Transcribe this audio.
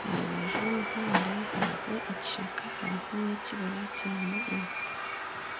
aha rubaju rw'omuhanda hariho ekishaka hariho n'ekibira kirimu emiti.